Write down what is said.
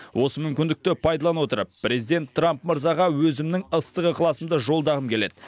осы мүмкіндікті пайдалана отырып президент трамп мырзаға өзімнің ыстық ықыласымды жолдағым келеді